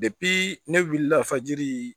ne wulila fajiri